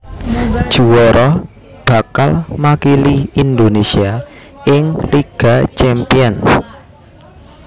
Juwara bakal makili Indonésia ing Liga Champions